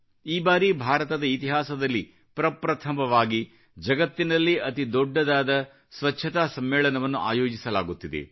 ಈ ಬಾರಿ ಭಾರತದ ಇತಿಹಾಸದಲ್ಲಿ ಪ್ರಪ್ರಥಮವಾಗಿ ಜಗತ್ತಿನಲ್ಲೇ ಅತೀ ದೊಡ್ಡದಾದ ಸ್ವಚ್ಚತಾ ಸಮ್ಮೇಳನವನ್ನು ಆಯೋಜಿಸಲಾಗುತ್ತಿದೆ